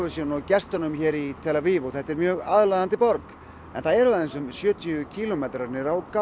gestunum hér í tel Aviv og þetta er mjög aðlaðandi borg en það eru aðeins um sjötíu kílómetrar niður á